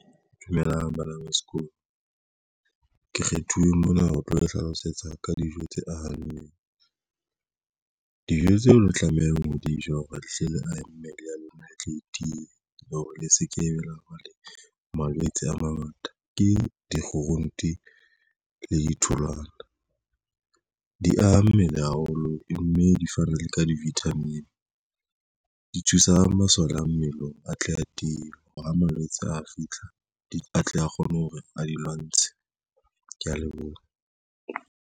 Dumelang bana ba sekolo ke kgethuwe mona ho tlo le hlalosetsa ka dijo tse ahang dijo tseo tlamehang ho di ja hoba le hle le ahe mmele ya lona e tle e tiye, le hore le sekebe la le malwetse a mangata Ke dikgurunte le ditholwana di aha mmele haholo mme di fana le ka di-vitamin di. thusa masole a mmele a tle a teng a malwetse a fihla di atle, a kgone hore a di lwantshe. Ke ya leboha.